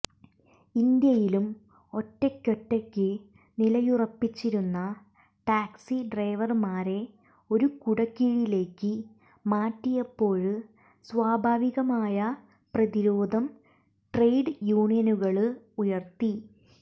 ഇന്ത്യയിലും ഒറ്റയ്ക്കൊറ്റയ്ക്ക് നിലയുറപ്പിച്ചിരുന്ന ടാക്സി ഡ്രൈവര്മാരെ ഒരു കുടക്കീഴിലേക്ക് മാറ്റിയപ്പോള് സ്വാഭാവികമായ പ്രതിരോധം ട്രേഡ് യൂണിയനുകള് ഉയര്ത്തി